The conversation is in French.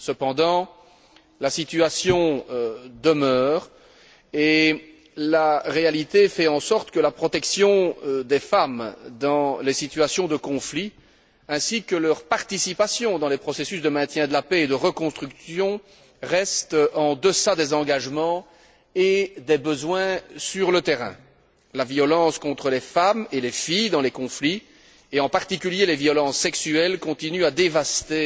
Cependant, la situation demeure et la réalité montre que la protection des femmes dans les situations de conflit ainsi que leur participation aux processus de maintien de la paix et de reconstruction restent en deçà des engagements et des besoins sur le terrain. La violence contre les femmes et les filles dans les conflits, et en particulier les violences sexuelles, continuent à dévaster